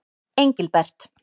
Engilbert